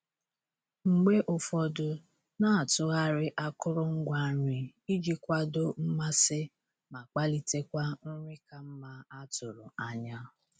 Mgbe ụfọdụ, na-atụgharị akụrụngwa nri iji kwado mmasị ma kpalitekwa nri ka mma a tụrụ anya.